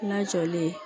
Na jɔlen